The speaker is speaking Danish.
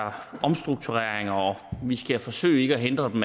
omstruktureringer og vi skal forsøge ikke at hindre dem